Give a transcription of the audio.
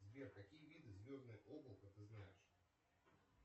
сбер какие виды звездное облако ты знаешь